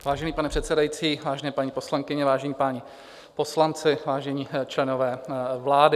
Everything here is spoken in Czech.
Vážený pane předsedající, vážené paní poslankyně, vážení páni poslanci, vážení členové vlády.